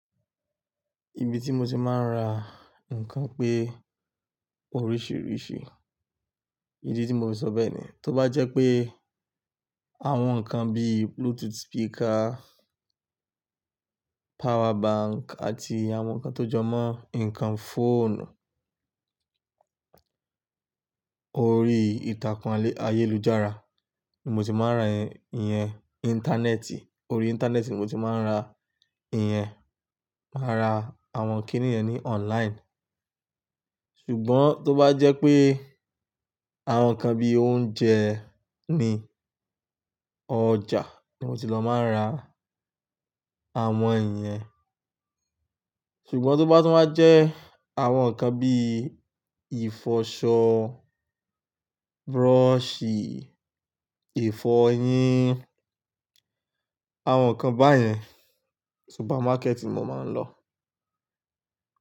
Ibi tí mo ti máa ń ra nǹkan pé oríṣìríṣì, ìdí tí mo fi sọ bẹ́ẹ̀ ni, tó bá jẹ́ pé àwọn nǹkan bíi Bluetooth speaker, power bank àti àwọn nǹkan tó jọ mọ́ nǹkan fóònù, orí ìtàkùn ayélujára ni mo ti máa ń ra ìyẹn, iyen Íńtánẹ́ẹ̀tì, orí Íńtánẹ́ẹ̀tì ni mo ti máa ń ra ìyẹn. Màá ra àwọn kíní yẹn ní online. Ṣùgbọ́n tó bá jẹ́ pé àwọn nǹkan bíi oúnjẹ ni ọjà ni mo ti lọ máa ń ra àwọn iyẹn. Ṣùgbọ́n tó bá tún wa jẹ́ àwọn nǹkan bíi ìfọṣọ, búrọ́ṣì, ifọ́ yín, àwọn nǹkan báyẹn súpámákẹ́ẹ̀tì mo máa ń lọ.